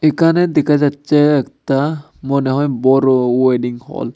এখানে দেখা যাচ্ছে একতা মনে হয় বড় ওয়েডিং হল ।